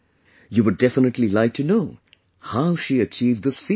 You would definitely like to know how she achieved this feat